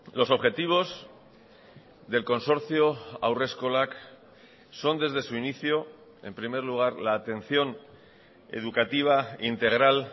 los objetivos del consorcio haurreskolak son desde su inicio en primer lugar la atención educativa integral